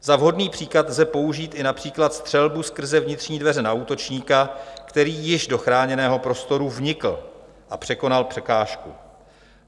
Za vhodný příklad lze použít i například střelbu skrze vnitřní dveře na útočníka, který již do chráněného prostoru vnikl a překonal překážku.